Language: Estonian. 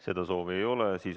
Seda soovi ei ole.